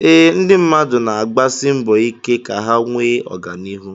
Eé, ndị mmadụ na-agbasi mbọ ike ka ha nwee oganihu